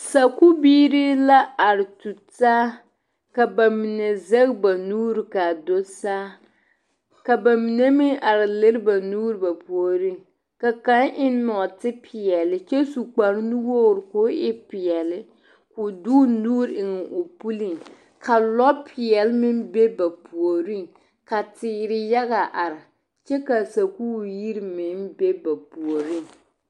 Sakubiiri la are tu taa ka ba mine zege ba nuuri ka a du saa ka ba mine meŋ are lere ba nuuri ba puori ka kaŋ eŋ nɔɔtepeɛle kyɛ su kparre nu wogri k'o e peɛle k'o de o nuuri eŋ o puliŋ ka lɔpeɛle meŋ be ba puori ka teere yaga are kyɛ ka sakubiiri yiri meŋ be ba puoriŋ.